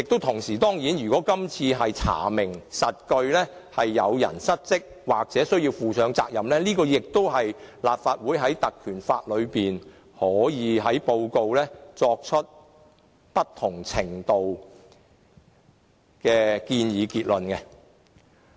同時，如果今次查明屬實是有人失職或需要負上責任，立法會也可以在調查報告中作出不同程度的建議和結論。